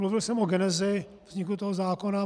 Mluvil jsem o genezi vzniku toho zákona.